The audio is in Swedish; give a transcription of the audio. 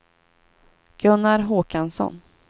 Gunnar Håkansson